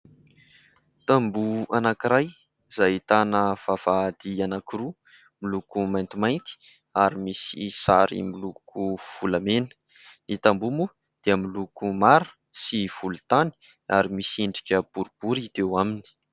Tamboho anankiray izay ahitana vavahady anankiroa miloko maintimainty ary misy sary miloko volamena, ny tamboho moa dia miloko mara sy volontany ary misy endrika boribory hita eo aminy.